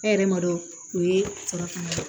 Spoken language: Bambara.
E yɛrɛ m'a dɔn o ye salaku ye